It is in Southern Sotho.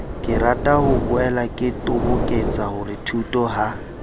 ke ratahoboela ke toboketsahorethuto ha